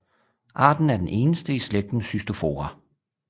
Arten er den eneste i slægten Cystophora